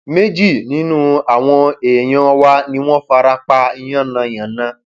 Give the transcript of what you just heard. méjì nínú àwọn èèyàn wa ni wọn fara pa yànnàyànnà